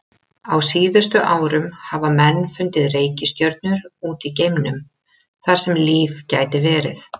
Á síðustu árum hafa menn fundið reikistjörnur út í geimnum þar sem líf gæti verið.